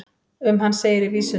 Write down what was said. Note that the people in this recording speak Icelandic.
um hann segir í vísunum